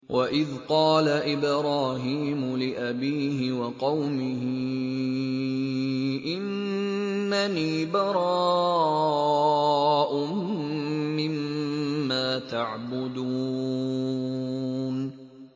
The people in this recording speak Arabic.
وَإِذْ قَالَ إِبْرَاهِيمُ لِأَبِيهِ وَقَوْمِهِ إِنَّنِي بَرَاءٌ مِّمَّا تَعْبُدُونَ